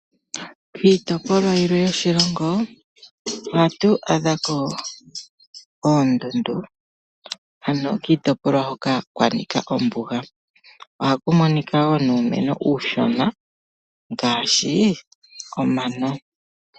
Kiitopolwa yilwe yoshilongo ohatu adhako oondundu, ano kiitopolwa hoka kwanika ombuga. Ohaku monika wo nuumeno uushona ngaashi omano.